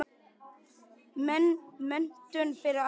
Menntun fyrir alla.